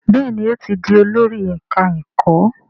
Béèni o tí dì Olórí ẹka ẹkọ.